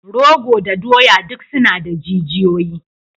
Rogo da doya duk suna da jijiyoyi.